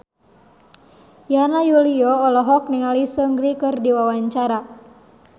Yana Julio olohok ningali Seungri keur diwawancara